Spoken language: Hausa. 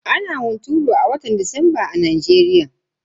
Ana hunturu a watan disamba a Najeriya.